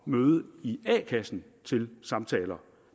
møde i a kassen til samtaler